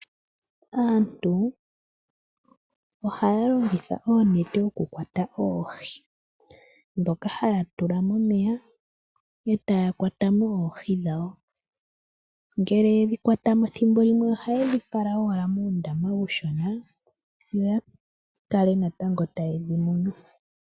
Aantu ohaya longitha oonete okukwata oohi ndhoka haya tula mo meya etaya kwatamo oohi dhawo ngele yedhi kwatamo thimbo limwe ohayedhi fala muundama uushona yo ya tale natango nkene taye dhi munu.